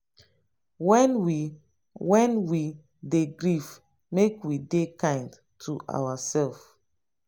when we when we dey grief make we dey kind to ourself